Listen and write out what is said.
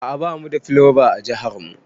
A'a bamu da plyova a jihar mu.